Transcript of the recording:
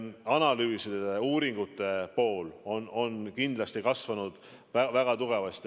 Analüüside ja uuringute pool on kindlasti väga tugevasti kasvanud.